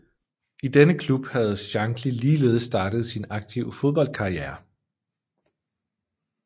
I denne klub havde Shankly ligeledes startet sin aktive fodboldkarriere